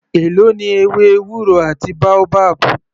Èló ni ewé ewúro àti boabab.